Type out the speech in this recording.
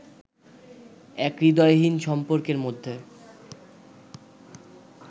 এক হূদয়হীন সম্পর্কের মধ্যে